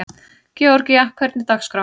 Georgía, hvernig er dagskráin?